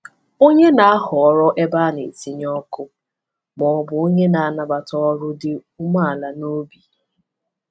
Onye na-ahọrọ ebe a na-etinye ọkụ ma ọ bụ onye na-anabata ọrụ dị umeala n’obi?